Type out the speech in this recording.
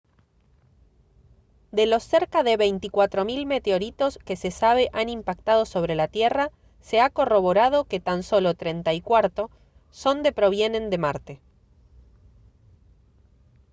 de los cerca de 24 000 meteoritos que se sabe han impactado sobre la tierra se ha corroborado que tan solo 34 son de provienen de marte